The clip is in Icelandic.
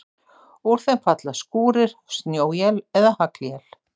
Úr þeim falla skúrir, snjóél eða haglél.